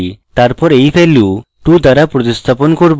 তারপর এই value 2 দ্বারা প্রতিস্থাপন করব